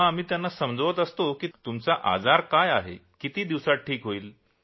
तेव्हा आम्ही त्यांना समजावतो की कोणती अडचण किती दिवसात ठीक होईल